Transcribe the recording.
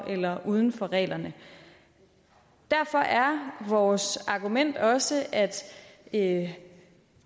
eller uden for reglerne derfor er vores argument også at